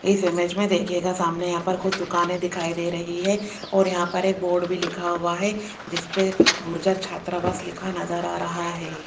इस इमेज में देखिएगा सामने यहां पर कुछ दुकानें दिखाई दे रही है और यहां पर एक बोर्ड भी लिखा हुआ है जिस पे गुर्जर छात्रावास लिखा नजर आ रहा है।